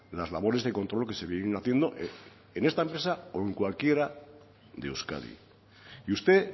las labores de control que se vienen haciendo en esta empresa o en cualquiera de euskadi y usted